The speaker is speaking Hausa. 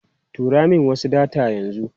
Turo min wasu data yanzu.